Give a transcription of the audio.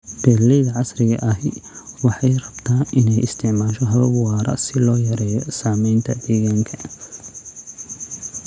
Beeralayda casriga ahi waxa ay rabta in ay isticmaasho habab waara si loo yareeyo saamaynta deegaanka.